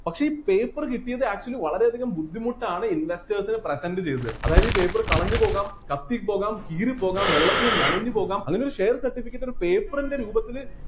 പക്ഷെ ഈ paper കിട്ടിയത് actually വളരെ അധികം ബുദ്ധിമുട്ടാണ് investors present ചെയ്തത് അതായത് ഈ paper കളഞ്ഞുപോകാം കത്തിപോകാം കീറിപ്പോകാം വെള്ളത്തില് നനഞ്ഞുപോകാം അങ്ങനെ ഒരു share certificate ഒരു paper ൻ്റെ രൂപത്തില്